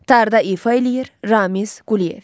Tarda ifa eləyir Ramiz Quliyev.